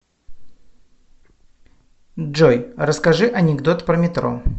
джой расскажи анекдот про метро